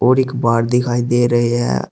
एक बार दिखाई दे रही है।